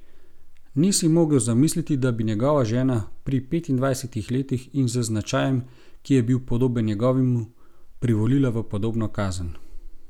Ni si mogel zamisliti, da bi njegova žena, pri petindvajsetih letih in z značajem, ki je bil podoben njegovemu, privolila v podobno kazen.